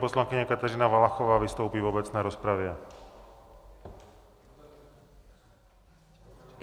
Poslankyně Kateřina Valachová vystoupí v obecné rozpravě.